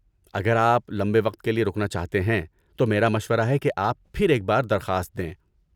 اگر آپ لمبے وقت کے لیے رکنا چاہتے ہیں، تو میرا مشورہ ہے کہ آپ پھر ایک بار درخواست دیں۔